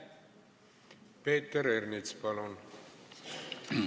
Peeter Ernits, palun!